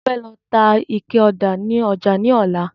Mo fẹ́ lọ ta ike ọ̀dà ni ọjà ní ọlá